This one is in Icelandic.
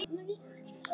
Vertu sæll, félagi.